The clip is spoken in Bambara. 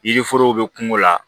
Yiriforow be kungo la